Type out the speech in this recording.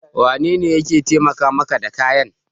Wanene ya taimaka maka da kayan?